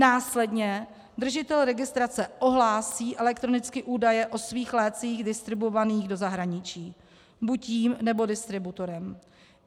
Následně držitel registrace ohlásí elektronicky údaje o svých lécích distribuovaných do zahraničí buď jím, nebo distributorem.